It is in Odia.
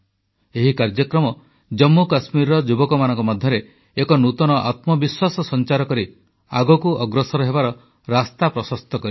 ଏହି କାର୍ଯ୍ୟକ୍ରମ ଜମ୍ମୁକଶ୍ମୀରର ଯୁବକମାନଙ୍କ ମଧ୍ୟରେ ଏକ ନୂତନ ଆତ୍ମବିଶ୍ୱାସ ସଂଚାର କରି ଆଗକୁ ଅଗ୍ରସର ହେବାର ରାସ୍ତା ପ୍ରଶସ୍ତ କରିଛି